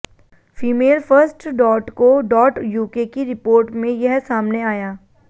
female first dot co dot UK की report में यह सामने आया